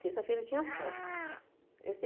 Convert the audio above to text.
Terça-feira eu tinha folga. Esse